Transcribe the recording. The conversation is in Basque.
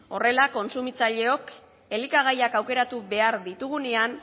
horrela kontsumitzaileok elikagaiak aukeratu behar ditugunean